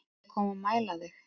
Á ég að koma og mæla þig